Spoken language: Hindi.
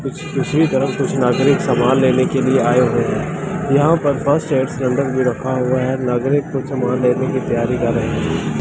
दूसरी तरफ़ कुछ नागरिक सामान लेने के लिए आये हुए है यहाँ पर नंबर दे रखा हुआ है नागरिक को सामान लेने की तैयारी कर रहे है ।